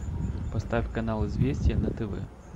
поставь канал известия на тв